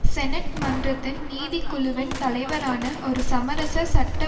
senate மன்றத்தின் நீதிக் குழுவின் தலைவரான ஒரு சமரச சட்ட